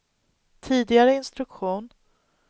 tidigare instruktion